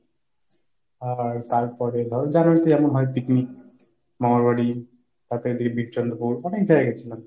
আর তারপরে ধরো january তে যেমন হয় picnic, মামার বাড়ি, তারপরে এইদিকে চন্দ্রপুর অনেক জায়গায় গিয়েছিলাম।